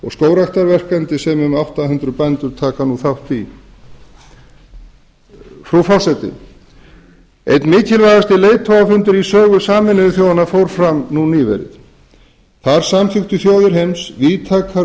og skógræktarverkefni sem um átta hundruð bændur taka þátt í frú forseti einn mikilvægasti leiðtogafundur í sögu sameinuðu þjóðanna fór fram nýverið þar samþykktu þjóðir heims víðtækar